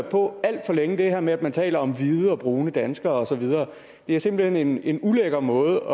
på alt for længe det her med at man taler om hvide og brune danskere og så videre det er simpelt hen en ulækker måde